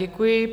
Děkuji.